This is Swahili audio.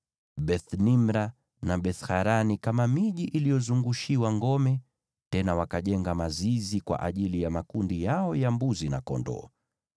Beth-Nimra na Beth-Harani kama miji iliyozungushiwa ngome, tena wakajenga mazizi kwa ajili ya makundi yao ya mbuzi na kondoo.